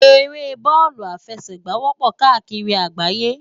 Éré bòlú áfèsègbá wòpò kàákiri àgbáyé